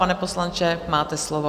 Pane poslanče, máte slovo.